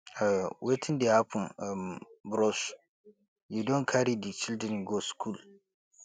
wetin dey happen um bros you don carry di children go skool